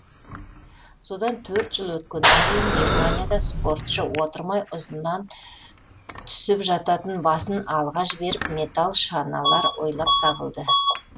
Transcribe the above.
содан төрт жыл өткеннен кейін германияда спортшы отырмай ұзыннан түсіп жататын басын алға жіберіп металл шаналар ойлап табылды